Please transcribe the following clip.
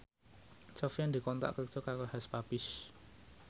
Sofyan dikontrak kerja karo Hush Puppies